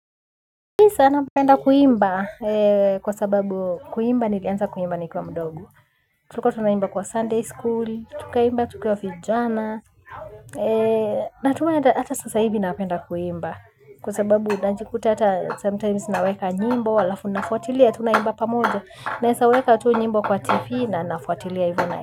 Nisa napenda kuimba kwa sababu kuimba nilianza kuimba ni kiwa mdogo. Tulikuwa tunaimba kwa Sunday school, tukaimba tukiwa vijana. Na tumenda hata sasa hivi napenda kuimba. Kwa sababu najikuta hata sometimes naweka nyimbo, halafu nafuatilia, tunaimba pamoja. Naezaweka tu nyimbo kwa TV na nafuatilia hivyo nae.